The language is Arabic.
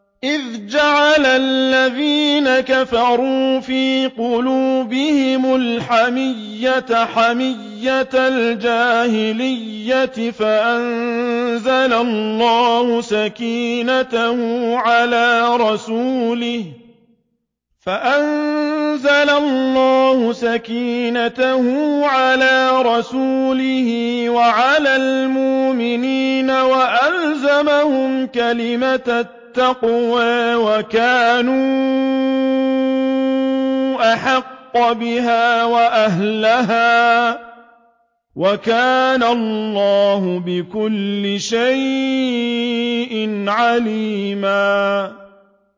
إِذْ جَعَلَ الَّذِينَ كَفَرُوا فِي قُلُوبِهِمُ الْحَمِيَّةَ حَمِيَّةَ الْجَاهِلِيَّةِ فَأَنزَلَ اللَّهُ سَكِينَتَهُ عَلَىٰ رَسُولِهِ وَعَلَى الْمُؤْمِنِينَ وَأَلْزَمَهُمْ كَلِمَةَ التَّقْوَىٰ وَكَانُوا أَحَقَّ بِهَا وَأَهْلَهَا ۚ وَكَانَ اللَّهُ بِكُلِّ شَيْءٍ عَلِيمًا